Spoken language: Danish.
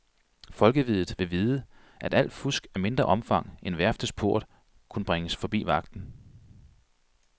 Folkeviddet vil vide, at alt fusk af mindre omfang end værftets port, kunne bringes forbi vagten.